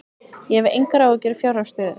Ég hef engar áhyggjur af fjárhagsstöðunni.